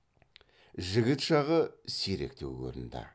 жігіт жағы сиректеу көрінді